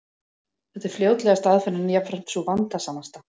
Þetta er fljótlegasta aðferðin, en jafnframt sú vandasamasta.